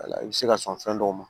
Wala i bɛ se ka sɔn fɛn dɔw ma